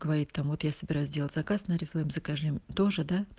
говорит там вот я собираюсь делать заказ на орифлейм закажи тоже да